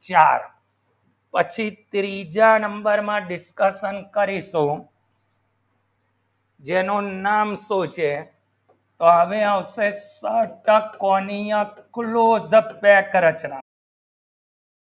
ચલો પછી ત્રીજા નંબર માં discussion કરીજો જેનું નામ શું છે ત્વે આવશે તક તક કાવિયા કૂલ